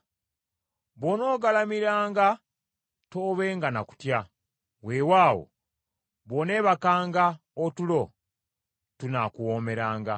Bw’onoogalamiranga toobenga na kutya, weewaawo bw’oneebakanga otulo tunaakuwoomeranga.